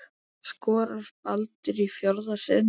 Skorar Baldur í fjórða sinn?